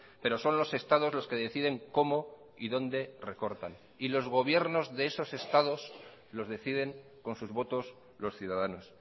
pero son los estados los que deciden cómo y dónde recortan y los gobiernos de esos estados los deciden con sus votos los ciudadanos